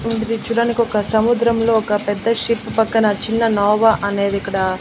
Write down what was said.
ఇది చూడడానికి ఒక సముద్రంలో ఒక పెద్ద షిప్ పక్కన చిన్న నోవా అనేది ఇక్కడ.